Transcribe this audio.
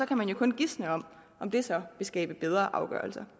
kan jo kun gisne om om det så vil skabe bedre afgørelser